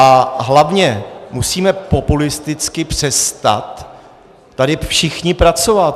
A hlavně musíme populisticky přestat tady všichni pracovat.